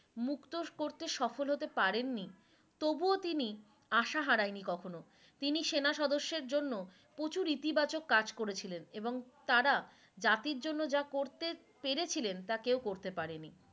মুক্ত করতে তিনি সফল হতে পারেন নি তবুও তিনি আশা হারায়নি কখনো তিনি সেনা সদস্যের জন্য প্রচুর ইতিবাচক কাজ করেছিলেন এবং তারা জাতীর জন্য যা করতে পেরেছিলেন তা কেও করতে পারেননি